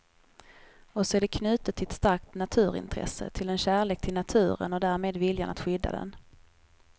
Och så är det knutet till ett starkt naturintresse, till en kärlek till naturen och därmed viljan att skydda den.